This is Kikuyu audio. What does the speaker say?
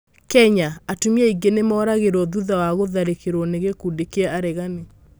Kenya: Atumia aingĩ nĩ mooragirũo thutha wa gũtharĩkĩrũo ni gĩkundi kĩa aregani